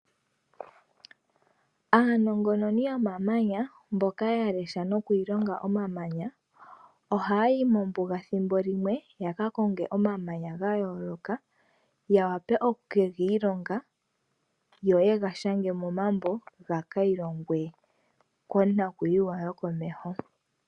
Aanongononi yomamanya mboka yalesha nokwiilonga omamanya oha yayi mombuga thimbo limwe yakakonge omamanya gayooloka ya wape okukegiilonga yo yega shange momambo gekiilongwe konakuyiwa yokomeho.